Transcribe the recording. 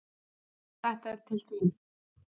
Þetta er til þín